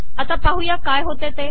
आता पाहूया काय होते ते